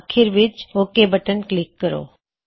ਆਖਿਰ ਵਿੱਚ OK button click ਕਰੋ